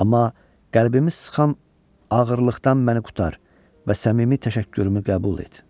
Amma qəlbimi sıxan ağırlıqdan məni qurtar və səmimi təşəkkürümü qəbul et.